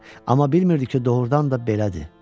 Amma bilmirdi ki, doğurdan da belədir.